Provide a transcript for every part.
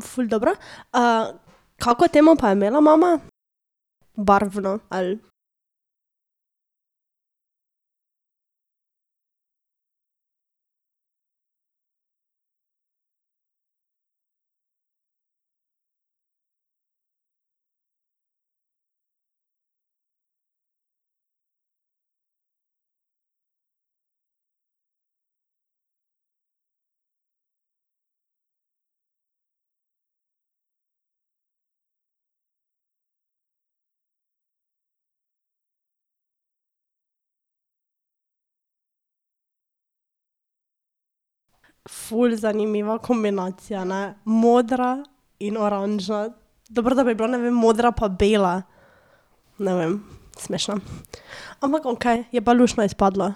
ful dobro, kako temo pa je imela mama? Barvno ali ... Ful zanimiva kombinacije, ne. Modra in oranžna dobro, da bi bila, ne vem, modra pa bela. Ne vem, smešno, ampak okej, je pa luštno izpadlo.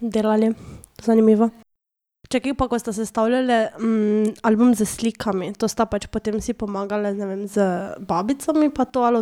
Delali, zanimivo. Čakaj, pa ko sta sestavljali, album s slikami, to sta pač potem si pomagali ne vem z babicami pa to ali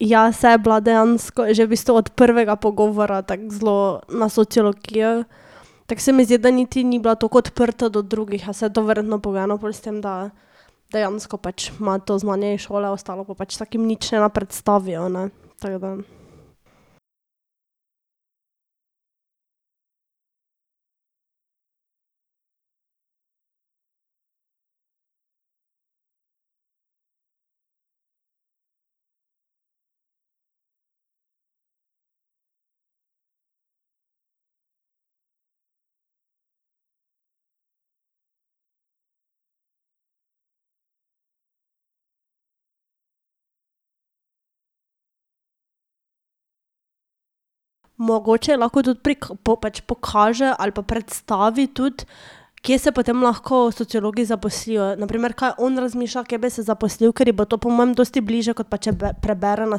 od kod sta slike dobili? Dejansko ful lepa. to sem mislila vprašati, za Martino, kaj zdaj se je odločila, kam bo šla naprej študirat? Dobro, torej je bilo moje svetovanje kaj v pomoč ali nič? Ja, saj je bila dejansko, že v bistvu od prvega pogovora tako zelo na sociologijo, tako se mi zdi, da niti ni bila tako odprta do drugih, a saj to je verjetno pogojeno pol s tem, da dejansko pač ima to znanje iz šole, ostalo pa pač tako jim nič ne predstavijo, ne, tako da. Mogoče lahko tudi prek po pač pokaže ali pa predstavi tudi, kje se potem lahko sociologi zaposlijo, na primer, kaj on razmišlja, kje bi se zaposlil, ker ji bo to po mojem dosti bliže, kot pa če prebere na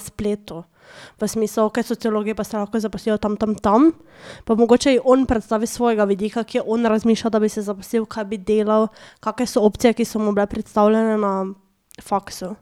spletu. Pa si mislijo, kaj sociologi pa se lahko zaposlijo tam, tam, tam, pa mogoče je on predstavi s svojega vidika, kje on razmišlja, da bi se zaposlil, kaj bi delal, kake so opcije, ki so mu bile predstavljene na faksu.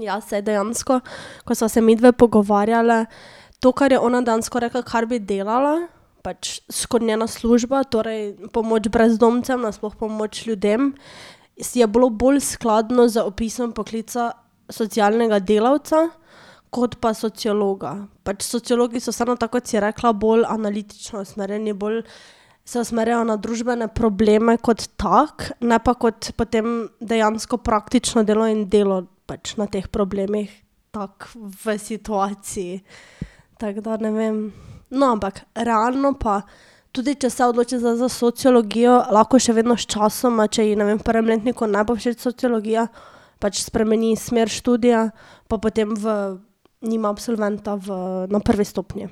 Ja, saj dejansko, ko sva se midve pogovarjali, to, kar je ona dejansko rekla, kar bi delala, pač skoraj njena služba, torej pomoč brezdomcem, nasploh pomoč ljudem, si je bilo bolj skladno opisom poklica socialnega delavca kot pa sociologa. Pač sociologi so samo tako, kot si rekla, bolj analitično usmerjeni, bolj se usmerjajo na družbene probleme kot tako, ne pa kot potem dejansko praktično delo in delo pač na teh problemih. Tako v situaciji, tako da, ne vem, no, ampak realno pa, tudi če se odloči zdaj za sociologijo, lahko še vedno sčasoma, če ji, ne vem, v prvem letniku ne bo všeč sociologija, pač spremeni smer študija pa potem v nima absolventa v na prvi stopnji.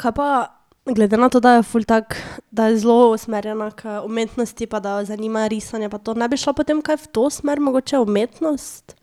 Kaj pa glede na to, da je ful tako, da je zelo usmerjena k umetnosti pa da jo zanima risanje pa to, ne bi šla potem kaj v to smer, mogoče umetnost?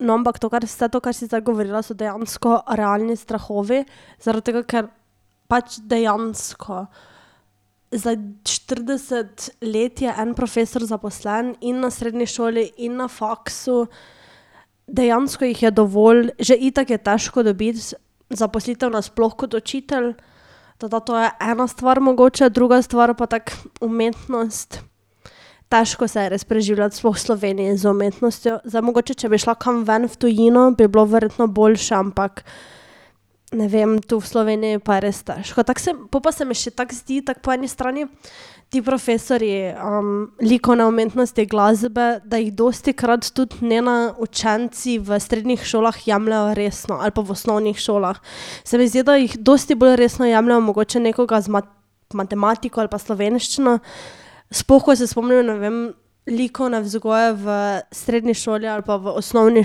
No, ampak to, kar, vse to, kar si zdaj govorila, so dejansko realni strahovi, zaradi tega, ker pač dejansko za štirideset let je en profesor zaposlen in na srednji šoli in na faksu, dejansko jih je dovolj, že itak je težko dobiti zaposlitev nasploh kot učitelj, Tako da to je ena stvar mogoče, druga stvar pa tako umetnost, težko se je res preživljati, sploh v Sloveniji, z umetnostjo. Zdaj mogoče, če bi šla kam ven v tujino, bi bilo verjetno boljše, ampak ne vem, tu v Sloveniji je pa res težko, tako se, pol pa se mi še tako zdi, tako po eni strani ti profesorji, likovne umetnosti, glasbe, da jih dostikrat tudi ne učenci v srednjih šolah jemljejo resno ali pa v osnovnih šolah. Se mi zdi, da jih dosti bolj resno jemljejo mogoče nekoga z matematiko ali pa slovenščino, sploh ko se spomnim, ne vem, likovne vzgoje v srednji šoli ali pa v osnovni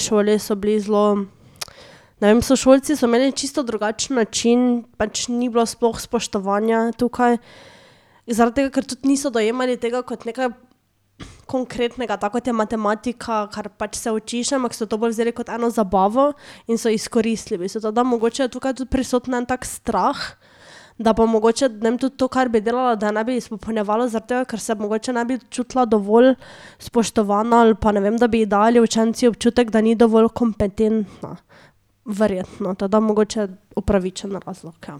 šoli, so bili zelo, ne vem, sošolci so imeli čisto drugačen način, pač ni bilo sploh spoštovanja tukaj zaradi tega, ker tudi niso dojemali tega kot nekaj konkretnega, tako kot je matematika, kar pač se učiš, ampak so to bolj vzeli kot eno zabavo in so izkoristili v bistvu to, da mogoče je tukaj tudi prisoten en tak strah, da bo mogoče, ne vem, tudi to, kar bi delala, da je ne bi izpopolnjevalo zaradi tega, ker se mogoče ne bi čutila dovolj spoštovano ali pa ne vem, da bi ji dali učenci občutek, da ni dovolj kompetentna. Verjetno to, da mogoče upravičen razlog, ja.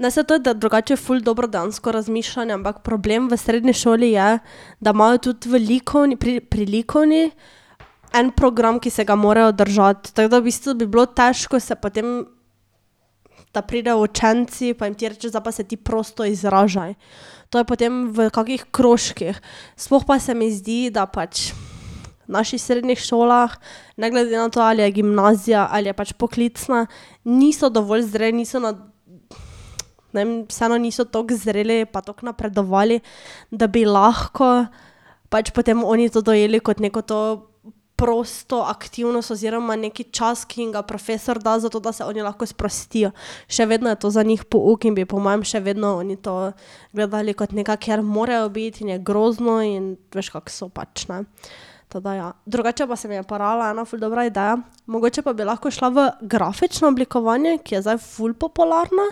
Ne, saj to, da drugače ful dobro dejansko razmišljanje, ampak problem v srednji šoli je, da imajo tudi v pri pri likovni en program, ki se ga morajo držati, tako da v bistvu bi bilo težko se potem, da pridejo učenci pa jim ti rečeš: "Zdaj pa se ti prosto izražaj." To je potem v kakih krožkih, sploh pa se mi zdi, da pač v naših srednjih šolah ne glede na to, ali je gimnazija ali je pač poklicna, niso dovolj zreli, niso, ne vem, vseeno niso tako zreli pa tako napredovali, da bi lahko pač potem oni to dojeli kot neko to prosto aktivnost oziroma neki čas, ki jim ga profesor da, zato da se oni lahko sprostijo. Še vedno je to za njih pouk in bi po mojem še vedno oni to gledali kot nekaj, kje morajo biti in je grozno in veš, kako so pač, ne. Tako da je, drugače pa se mi je porajala ena ful dobra ideja. Mogoče pa bi lahko šla v grafično oblikovanje, ki je zdaj ful popularno.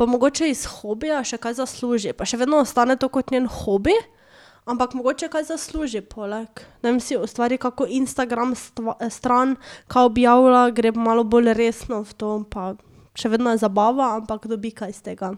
Pa mogoče iz hobija še kaj zasluži. Pa še vedno ostane to kot njen hobi, ampak mogoče kaj zasluži poleg. Ne vem, si ustvari kako Instagram stran, kaj objavlja, gre malo bolj resno v to, pa še vedno je zabava, ampak dobi kaj iz tega.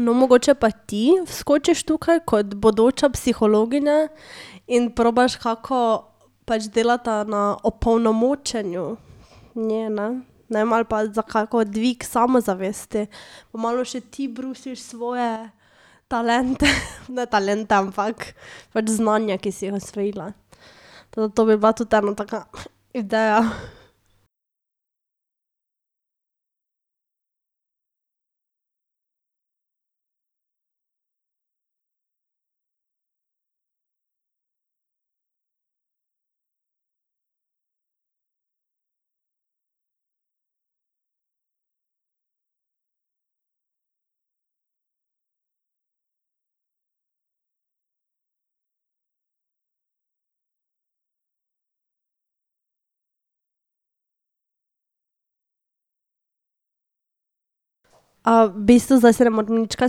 No, mogoče pa ti vskočiš tukaj kot bodoča psihologinja in probaš kako, pač delata na opolnomočenju ne, ne. Ne vem, ali pa za kako dvig samozavesti pa malo še ti brusiš svoje talente, ne talente, ampak pač znanja, ki si jih osvojila. Tako da to bi bila tudi ena taka ideja . v bistvu, zdaj se ne morem nič kaj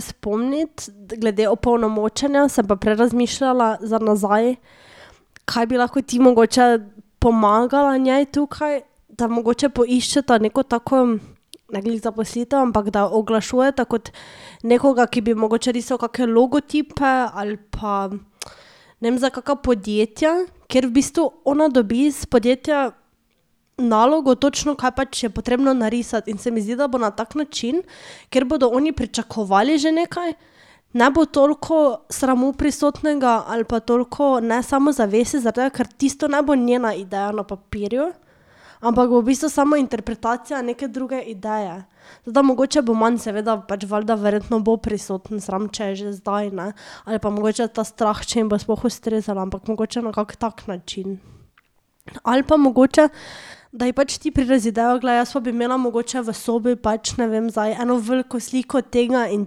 spomniti, glede opolnomočenja, sem pa prej razmišljala za nazaj, kaj bi lahko ti mogoče pomagala njej tukaj, da mogoče poiščeta neko tako ne glih zaposlitev, ampak da oglašujeta kot nekoga, ki bi mogoče risal kake logotipe ali pa, ne vem, za kaka podjetja, kjer v bistvu ona dobi iz podjetja nalogo točno, kaj pač je potrebno narisati, in se mi zdi, da bo na tak način, kjer bodo oni pričakovali že nekaj, ne bo toliko sramu prisotnega ali pa toliko nesamozavesti, zaradi tega, ker tisto ne bo njena ideja na papirju, ampak bo v bistvu samo interpretacija neke druge ideje. Da mogoče bo manj, seveda pač valjda verjetno bo prisoten sram, če je že zdaj, ne, ali pa mogoče ta strah, če jim bo sploh ustrezala, ampak mogoče na kakšen tak način. Ali pa mogoče, da je pač ti prideš z idejo: "Glej, jaz pa bi imela mogoče v sobi pač, ne vem, zdaj eno veliko sliko tega in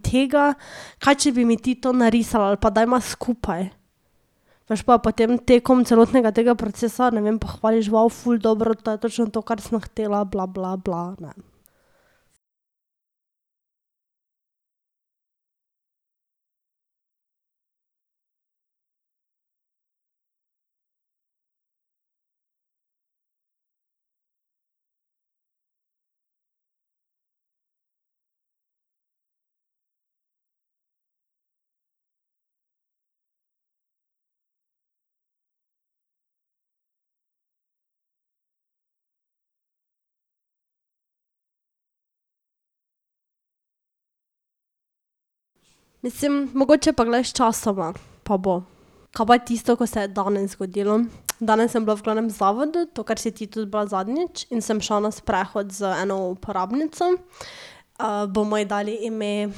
tega, kaj če bi mi ti to narisala, ali pa dajva skupaj." Veš, pa jo potem tekom celotnega tega procesa, ne vem, pohvališ: ful dobro to je točno to, kar sem hotela, bla, bla, bla, ne." Mislim, mogoče pa glej, sčasoma. Pa bo. Ka pa tisto, ko se je danes zgodilo. Danes sem bila v glavnem zavodu, to, kar si tudi bila zadnjič, in sem šla na sprehod z eno uporabnico. bomo ji dali ime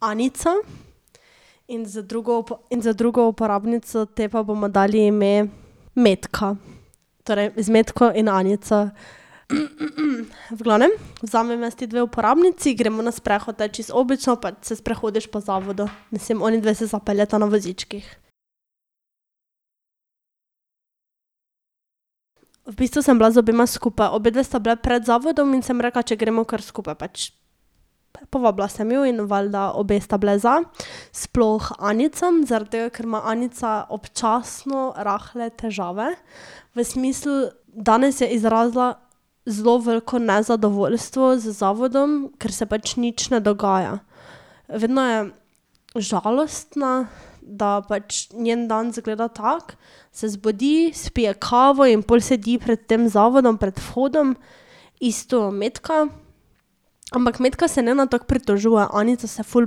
Anica. In z drugo in z drugo uporabnico, tej pa bomo dali ime Metka. Torej z Metko in Anico, v glavnem, vzamem jaz ti dve uporabnici, gremo na sprehod, ta, čisto obično pač se sprehodiš po zavodu. Mislim onidve se zapeljeta na vozičkih. V bistvu sem bila z obema skupaj, obedve sta bile pred zavodom in sem rekla, če gremo kar skupaj pač. Pa povabila sem ju in valjda obe sta bile za, sploh Anica, zaradi tega ker ima Anica občasno rahle težave, v smislu, danes je izrazila zelo veliko nezadovoljstvo z zavodom, ker se pač nič ne dogaja. Vedno je žalostna, da pač njen dan izgleda tako, se zbudi, spije kavo in pol sedi pred tem zavodom pred vhodom, isto Metka, ampak Metka se ne tako pritožuje, Anica se ful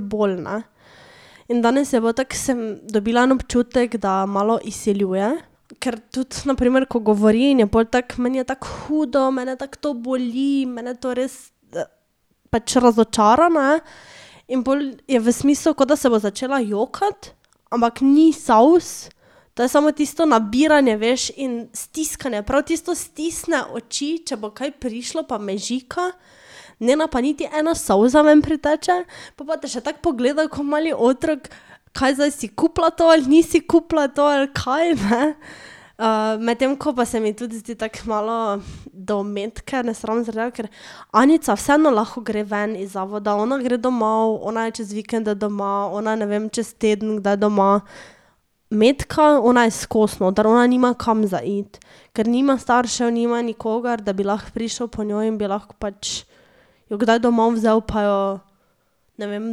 bolj, ne. In danes je bilo tako sem dobila en občutek, da malo izsiljuje, ker tudi na primer, ko govori, in je pol tako meni je tako hudo, mene tako to boli, mene to res, pač razočarana je in pol je v smislu, kot da se bo začela jokati, ampak ni solz, to je samo tisto nabiranje, veš in stiskanje prav tisto stisne oči, če bo kaj prišlo pa mežika. Ne pa niti ena solza ven priteče, pol pa te še tako pogleda ko mali otrok, kaj zdaj si kupila to ali nisi kupila to ali kaj, ne. medtem ko pa se mi tudi zdi tako malo do Metke nesramno, zaradi tega ker Anica vseeno lahko gre ven iz zavoda, ona gre domov, ona je čez vikende doma, ona ne vem čez teden kdaj doma. Metka, ona je skoz noter, ona nima kam za iti, ker nima staršev, nima nikogar, da bi lahko prišel po njo in bi lahko pač jo kdaj domov vzel pa jo, ne vem,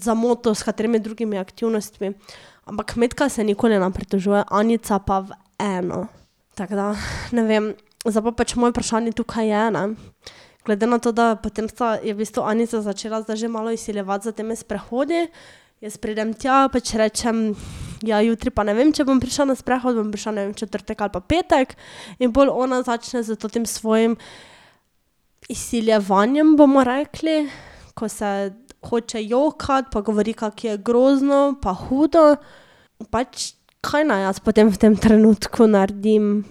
zamotil s katerimi drugimi aktivnostmi. Ampak Metka se nikoli ne pritožuje, Anica pa v eno. Tako da , ne vem, zdaj pa pač moje vprašanje tukaj je, ne, glede na to, da je potem je v bistvu Anica začela zdaj že malo izsiljevati s temi sprehodi. Jaz pridem tja, pač rečem: "Ja, jutri pa ne vem, če bom prišla na sprehod, bom prišla, ne vem, v četrtek ali pa petek." In pol ona začne s tem svojim izsiljevanjem, bomo rekli, ko se hoče jokati, pa govori, kako je grozno pa hudo, pač, kaj naj jaz potem v tem trenutku naredim?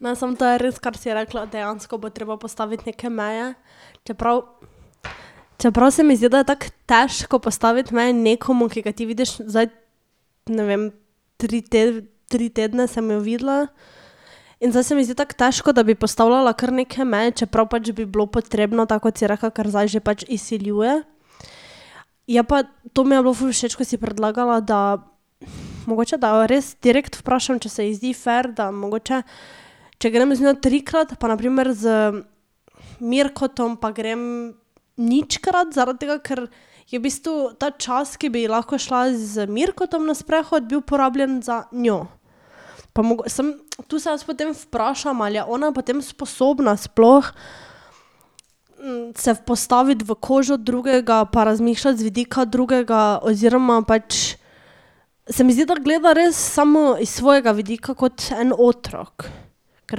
No, samo to je res, kar si rekla, dejansko bo treba postaviti neke meje, čeprav čeprav se mi zdi, da je tako težko postaviti meje nekomu, ki ga ti vidiš zdaj, ne vem, tri tri tedne sem jo videla, in zdaj se mi zdi tako težko, da bi postavljala kar neke meje, čeprav pač bi bilo potrebno, tako kot si rekla, ker zdaj že pač izsiljuje. Je pa, to mi je bilo ful všeč, ko si predlagala, da mogoče, da jo res direkt vprašam, če se ji zdi fer, da mogoče, če grem z njo trikrat pa na primer z Mirkotom pa grem ničkrat, zaradi tega ker je v bistvu ta čas, ki bi ji lahko šla z Mirkotom na sprehod, bil porabljen za njo. Pa sem tu se jaz potem vprašam, ali je ona potem sposobna sploh, se postaviti v kožo drugega pa razmišljati z vidika drugega oziroma pač se mi zdi, da gleda res samo iz svojega vidika kot en otrok. Ker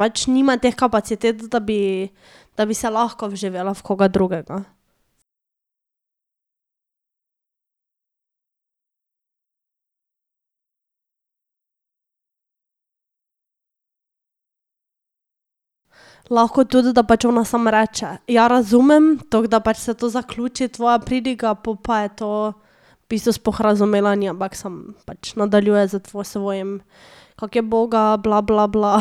pač nima teh kapacitet, da bi, da bi se lahko vživela v koga drugega. Lahko tudi, da pač ona samo reče: "Ja, razumem," toliko da pač se to zaključi tvoja pridiga, pol pa je to v bistvu sploh razumela ni, ampak samo pač nadaljuje s svojim, kako je uboga bla, bla, bla .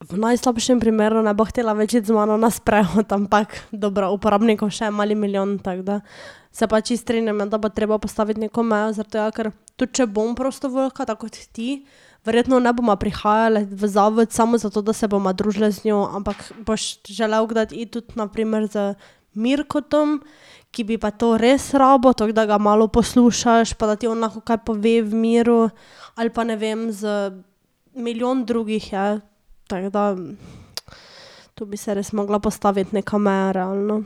V najslabšem primeru ne bo hotela več iti z mano na sprehod, ampak dobro, uporabnikov še je mali milijon, tako da se pač čisto strinjam ja, da bo treba postaviti neko mejo, zaradi tega ker, tudi če bom prostovoljka, tako kot ti, verjetno ne bova prihajali v zavod samo zato, da se bova družili z njo, ampak boš želel kdaj iti na primer z Mirkotom, ki bi pa to res rabil, tako da ga malo poslušaš pa da ti on lahko kaj pove v miru. Ali pa ne vem z milijon drugih je, tako da tu bi se res mogla postaviti neko meja realno.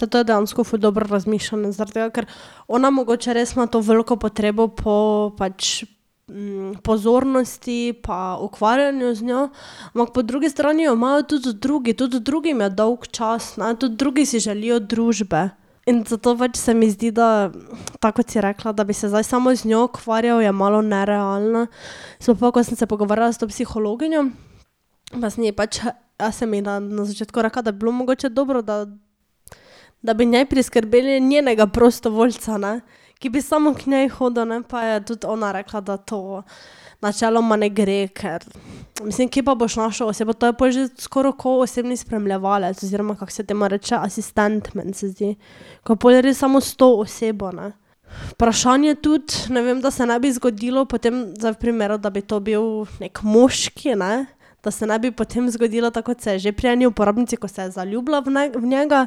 Saj to je dejansko ful dobro razmišljanje zaradi tega, ker ona mogoče res ima to veliko potrebo po pač, pozornosti pa ukvarjanju z njo, ampak po drugi strani jo imajo tudi drugi, tudi drugim je dolgčas, ne, tudi drugi si želijo družbe in zato pač se mi zdi, da tako, kot si rekla, da bi se zdaj samo z njo ukvarjali, je malo nerealno. Sploh pol, ko sem se pogovarjala s to psihologinjo, pa sem ji pač jaz sem ji na na začetku rekla, da bi bilo mogoče dobro, da, da bi njej priskrbeli njenega prostovoljca, ne, ki bi samo k njej hodil, ne, pa je tudi ona rekla, da to načeloma ne gre, ker mislim, kje pa boš našel osebo, to je pol že skoraj kot osebni spremljevalec, oziroma kako se temu reče, asistent, meni se zdi. Ko pol je res samo s to osebo, ne. Vprašanje tudi, ne vem, da se ne bi zgodilo, potem zdaj v primeru, da bi to bil neki moški, ne, da se ne bi potem zgodilo, tako kot se je že pri eni uporabnici, ko se je zaljubila v v njega.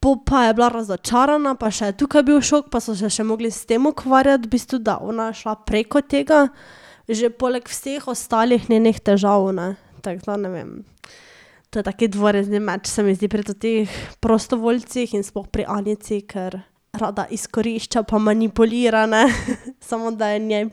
Pol pa je bila razočarana pa še tukaj je bil šok, pa so se še mogli s tem ukvarjati v bistvu, da je ona šla preko tega, že poleg vseh ostalih njenih težav, ne, tako da ne vem. To je tak dvorezni meč, se mi zdi, pri teh prostovoljcih in sploh pri Anici, ker rada izkorišča pa manipulira, ne, samo da je njej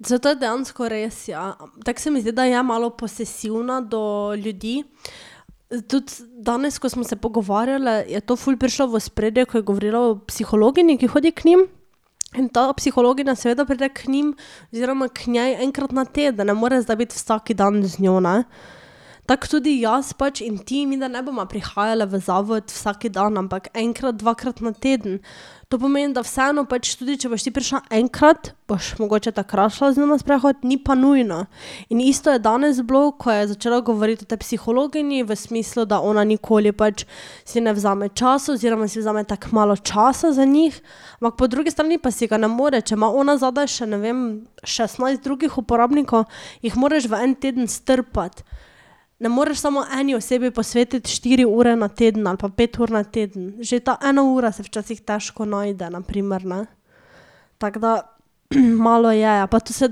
v prid. Saj to je dejansko res, ja, tako se mi zdi, da je malo posesivna do ljudi. Tudi danes, ko smo se pogovarjale, je to ful prišlo v ospredje, ko je govorila o psihologinji, ki hodi k njim, in ta psihologinja seveda pride k njim oziroma k njej enkrat na teden, ne more biti zdaj vsak dan z njo, ne. Tako tudi jaz pač in ti, midve ne bova prihajali v zavod vsak dan, ampak enkrat, dvakrat na teden. To pomeni, da vseeno pač, tudi če boš ti prišla enkrat, boš mogoče takrat šla z njo na sprehod, ni pa nujno. In isto je danes bilo, ko je začela govoriti o tej psihologinji v smislu, da ona nikoli pač si ne vzame časa oziroma si vzame tako malo čas za njih, ampak po drugi strani pa si ga ne more, če ima ona zadaj še ne vem šestnajst drugih uporabnikov, jih moraš v en teden strpati. Ne moreš samo eni osebi posvetiti štiri ure na teden ali pa pet ur na teden, že ta ena ura se včasih težko najde na primer, ne. Tako da malo je, ja, pa to vse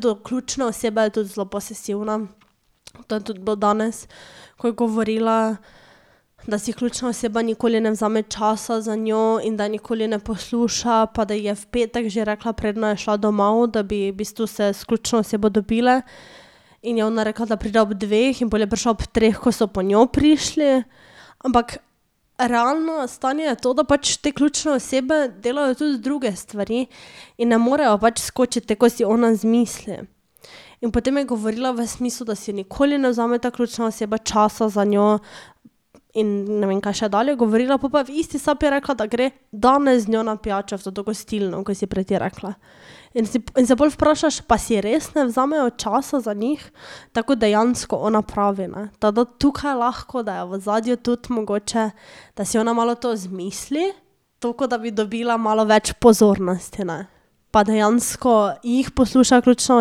do ključne osebe je tudi zelo posesivna. To je tudi bilo danes, ko je govorila, da si ključna oseba nikoli ne vzame časa za njo in da je nikoli ne posluša pa da ji je v petek že rekla, preden je šla domov, da bi v bistvu se s ključno osebe dobili. In je ona rekla, da pride ob dveh, in pol je prišla ob treh, ko so po njo prišli, ampak realno stanje je to, da pač te ključne osebe delajo tudi druge stvari in ne morejo pač skočiti, tako kot si ona izmisli. In potem je govorila v smislu, da si nikoli ne vzame ta ključna oseba časa za njo, in ne vem, kaj še dalje je govorila, pol pa je v isti sapi rekla, da gre danes z njo na pijačo v toto gostilno, ko si prej ti rekla. In si in se pol vprašaš, pa si res ne vzamejo časa za njih? Tako kot dejansko ona pravi, ne, tako da tukaj lahko, da je v ozadju tudi mogoče, da si ona malo to izmisli, toliko da bi dobila malo več pozornosti, ne. Pa dejansko jih posluša ključna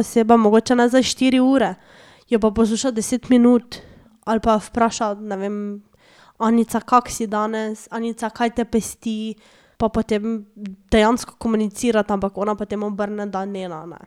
oseba, mogoče ne zdaj štiri ure, jo pa posluša deset minut ali pa vpraša, ne vem: "Anica, kako si danes? Anica, kaj te pesti?" Pa potem dejansko komunicirata, ampak ona potem obrne, da ne, ne.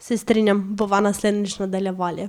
Se strinjam, bova naslednjič nadaljevali.